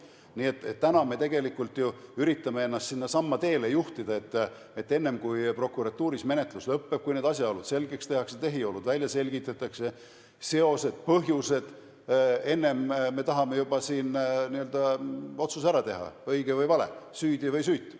Täna me üritame ennast tegelikult ju sinnasamma teele juhtida, et enne kui prokuratuuris menetlus lõpeb, kui need asjaolud selgeks tehakse, tehiolud välja selgitakse ja seosed-põhjused leitakse, tahame meie juba otsuse ära teha – õige või vale, süüdi või süütu.